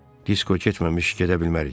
Disko getməmiş gedə bilmərik.